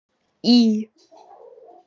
Í